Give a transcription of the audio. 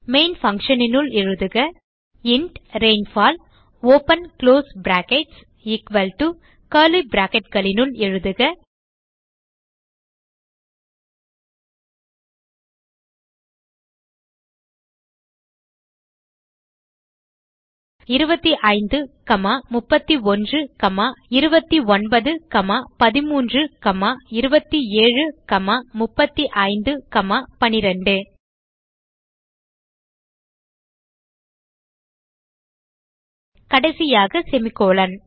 main function னுள் எழுதுக int rainfall open close brackets equal to curly bracketகளினுள் எழுதுக 25 31 29 13 27 35 12 கடைசியாக செமிகோலன்